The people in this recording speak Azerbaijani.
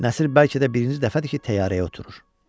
Nəsir bəlkə də birinci dəfədir ki, təyyarəyə oturur.